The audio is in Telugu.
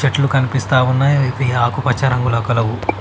చెట్లు కనిపిస్తా ఉన్నాయి. అవ్వీ ఆకుపచ్చ రంగుల కలవు.